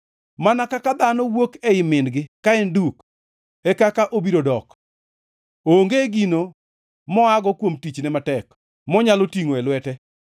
Mana kaka dhano wuok ei min-gi ka en duk, e kaka obiro dok. Onge gino moago kuom tichne matek monyalo tingʼo e lwete.